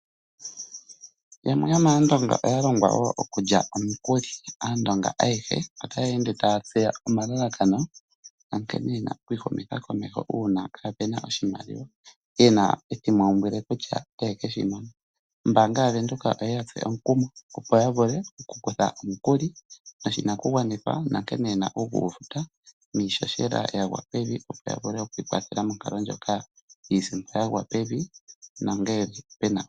Yamwe yomAandonga oya longwa wo okulya omikuli. Aandonga ayehe otaya ende taya tseya omalalakano, nankene ye na oku ihumitha komeho uuna kaape na oshimaliwa, ye na etimaumbwile kutya otaye ke shi mona. Ombaanga yaVenduka oye ya tsu omukumo, opo ya vule okukutha omukuli noshinakugwanithwa nankene ye na okugu futa niihohela ya gwa pevi, opo ya vule oku ikwathela monkalo ndjoka yiisimpo ya gwa pevi.